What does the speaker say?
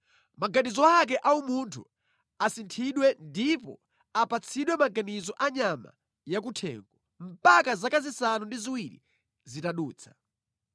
Maganizo ake a umunthu asinthidwe ndipo apatsidwe maganizo a nyama ya kuthengo, mpaka zaka zisanu ndi ziwiri zitadutsa.